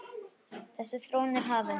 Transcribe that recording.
Þessi þróun er hafin.